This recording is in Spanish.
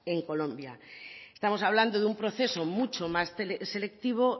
en colombia estamos hablando de un proceso mucho más selectivo